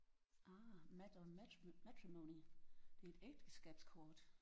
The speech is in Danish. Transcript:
Ah map on mat matrimony det er et ægteskabskort